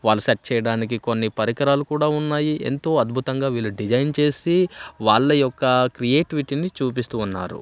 వాళ్లు సెట్ చేయడానికి కొన్ని పరికరాలు కూడా ఉన్నాయి ఎంతో అద్భుతంగా వీళ్ళ డిజైన్ చేసి వాళ్ళ యొక్క క్రియేటివిటిని చూపిస్తూ ఉన్నారు.